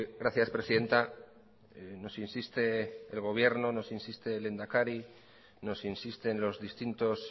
gracias presidenta nos insiste el gobierno nos insiste el lehendakari nos insisten los distintos